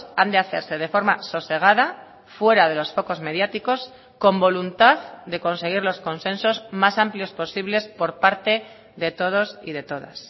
han de hacerse de forma sosegada fuera de los focos mediáticos con voluntad de conseguir los consensos más amplios posibles por parte de todos y de todas